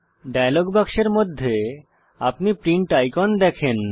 dialogue বাক্সের মধ্যে আপনি প্রিন্ট আইকন দেখেন